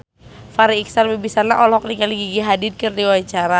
Farri Icksan Wibisana olohok ningali Gigi Hadid keur diwawancara